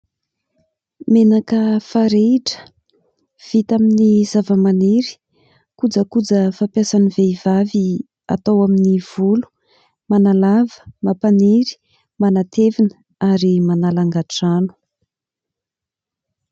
Menaka farehitra vita amin'ny zavamaniry. Kojakoja fampiasan'ny vehivavy atao amin'ny volo ; manalava, mampaniry, manatevina ary manala angadrano.